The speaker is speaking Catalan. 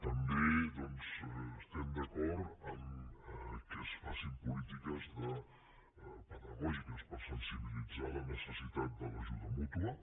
també estem d’acord que es facin polítiques pedagògiques per sensibilitzar sobre la necessitat de l’ajuda mútua